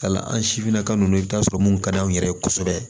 Ka la an sifinnaka ninnu na i bɛ t'a sɔrɔ minnu ka d'anw yɛrɛ ye kosɛbɛ